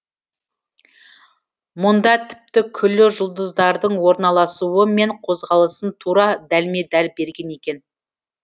мұнда тіпті күллі жұлдыздардың орналасуы мен қозғалысын тура дәлме дәл берген екен